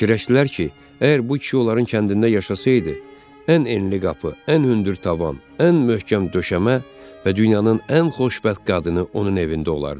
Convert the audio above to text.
Fikirləşdilər ki, əgər bu kişi onların kəndində yaşasaydı, ən enli qapı, ən hündür tavan, ən möhkəm döşəmə və dünyanın ən xoşbəxt qadını onun evində olardı.